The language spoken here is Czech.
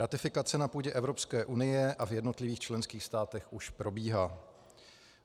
Ratifikace na půdě Evropské unie a v jednotlivých členských státech už probíhá.